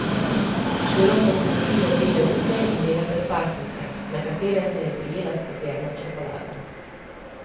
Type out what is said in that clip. Delavke so nosile bele rute in bele predpasnike, na katere se je prijela stopljena čokolada.